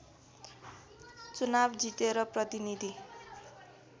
चुनाव जितेर प्रतिनीधि